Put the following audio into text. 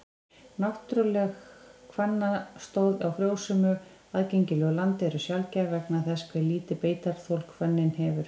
Náttúruleg hvannstóð á frjósömu, aðgengilegu landi eru sjaldgæf vegna þess hve lítið beitarþol hvönnin hefur.